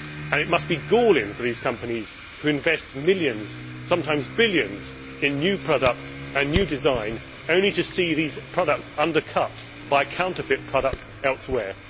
It must be galling for companies who invest millions sometimes billions in new products and new designs to see those products undercut by counterfeit products elsewhere.